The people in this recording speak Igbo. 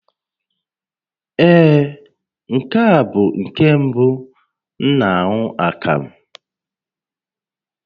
Ee, nke a bụ nke mbụ m na-aṅụ akamụ